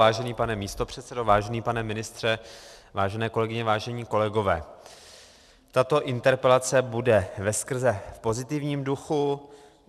Vážený pane místopředsedo, vážený pane ministře, vážené kolegyně, vážení kolegové, tato interpelace bude veskrze v pozitivním duchu.